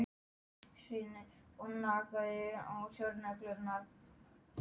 spurði hnátan hvatvíslega og gaumgæfði gestinn athugulum augum.